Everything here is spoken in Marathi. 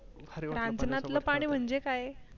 रानजातलं पाणी म्हणजे काय?